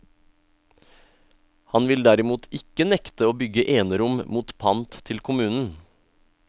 Han vil derimot ikke nekte å bygge enerom mot pant til kommunen.